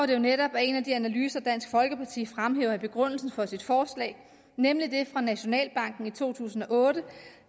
det jo netop af en af de analyser dansk folkeparti fremhæver i begrundelsen for sit forslag nemlig den fra nationalbanken i to tusind og otte